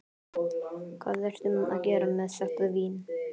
Hvað ertu að gera með þetta vín?